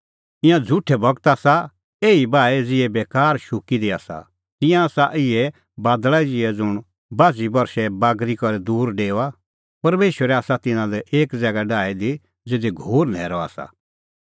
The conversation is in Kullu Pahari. ईंयां झ़ुठै गूरू आसा एही बाऐ ज़िहै बेकार ज़ुंण शुक्की दी आसा तिंयां आसा इहै बादल़ा ज़िहै ज़ुंण बाझ़ी बरशै बागरी करै दूर डेओआ परमेशरै आसा तिन्नां लै एक ज़ैगा डाही दी ज़िधी घोर न्हैरअ आसा